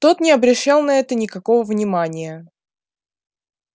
тот не обращал на это никакого внимания